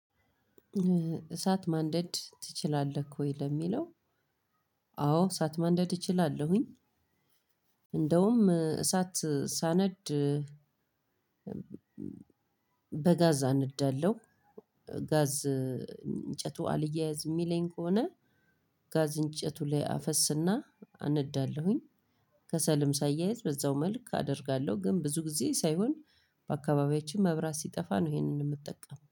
እሳት ማንደድ ትችላለህ ወይ? ለሚለው አዎ! እሳት ማንደድ እችላለሁኝ። እንደውም እሳት ሳነድ በጋዝ አነዳለሁ። ጋዝ እንጨቱ አልያያዝ የሚለኝ ከሆነ ጋዝ እንጨቱ ላይ አፈስና አነዳለሁኝ። ከሰልም ሳያይዝ በዛው መልክ አደርጋለሁ፤ ግን ብዙ ጊዜ ሳይሆን በአካባቢያችን መብራት ሲጠፋ ነው ይሄንን የምጠቀመው